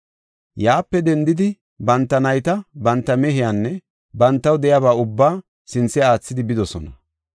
Yaape dendidi, banta nayta, banta mehiyanne bantaw de7iyaba ubbaa sinthe aathidi bidosona.